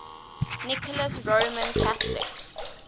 nicholas roman catholic